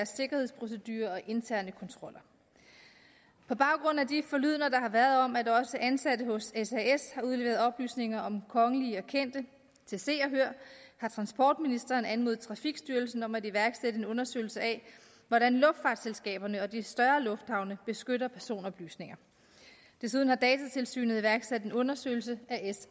sikkerhedsprocedurer og interne kontroller på baggrund af de forlydender der har været om at også ansatte hos sas har udleveret oplysninger om kongelige og kendte til se og hør har transportministeren anmodet trafikstyrelsen om at iværksætte en undersøgelse af hvordan luftfartsselskaberne og de større lufthavne beskytter personoplysninger desuden har datatilsynet iværksat en undersøgelse